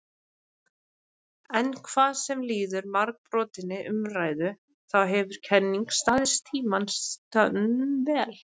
En hvað sem líður margbrotinni umræðu þá hefur kenningin staðist tímans tönn vel.